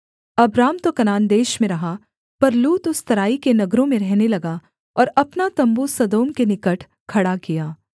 Abram तो Canaan देश में रहा पर लूत उस तराई के नगरों में रहने लगा और अपना तम्बू सदोम के निकट खड़ा किया